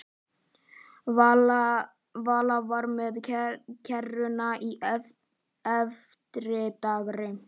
Vala var með kerruna í eftirdragi.